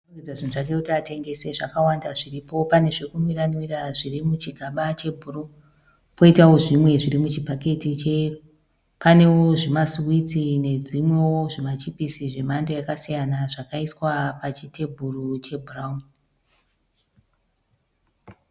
Munhu arikurongedza zvinhu zvake kuti atengese. Zvakawanda zviripo. Pane zvekunwiranwira zviri muchigaba chebhuruwu. Poitawo zvimwe zvirimuchibhaketi cheyero. Panewo zvimasiwitsi nedzimwewo zvimachipisi zvemhando yasiyana zvakaiswa pachitebhuru chebhurawuni .